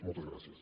moltes gràcies